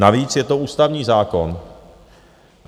Navíc je to ústavní zákon.